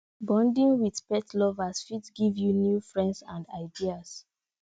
bonding with pet lovers fit give you new friends and ideas